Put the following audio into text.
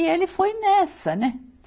E ele foi nessa, né?